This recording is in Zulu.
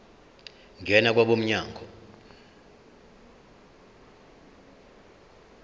ngena kwabo mnyango